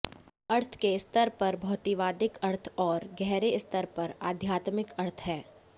अर्थ के स्तर पर भौतिकवादी अर्थ और गहरे स्तर पर आध्यात्मिक अर्थ हैं